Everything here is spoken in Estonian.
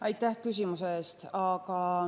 Aitäh küsimuse eest!